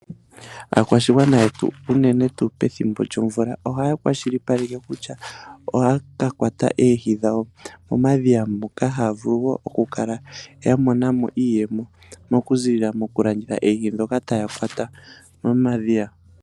Aakwashigwana yetu unene tuu pethimbo djo mvula, ohaya kwashilipaleke kutya ohaya ka kwata oohi dhawo momadhiya, moka haya vulu woo oku kala ya monamo iiyemo moku ziilila moku landitha eehi ndhoka taya kwata moma dhiya.